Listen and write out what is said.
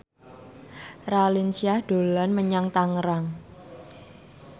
Raline Shah dolan menyang Tangerang